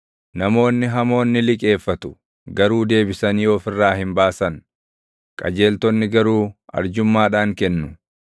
Namoonni hamoon ni liqeeffatu; garuu deebisanii of irraa hin baasan; qajeeltonni garuu arjummaadhaan kennu;